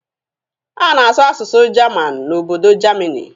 A na-asụ asụsụ jamanụ n'obodo Jamini.